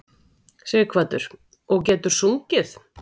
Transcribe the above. Sighvatur: Og getur sungið?